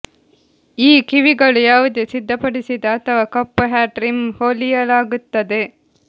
ಈ ಕಿವಿಗಳು ಯಾವುದೇ ಸಿದ್ಧಪಡಿಸಿದ ಅಥವಾ ಕಪ್ಪು ಹ್ಯಾಟ್ ರಿಮ್ ಹೊಲಿಯಲಾಗುತ್ತದೆ